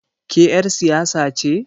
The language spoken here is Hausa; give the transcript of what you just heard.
Ke ƴar siyasa ce?